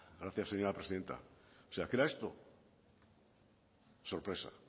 gracias señora presidenta o sea que era esto sorpresa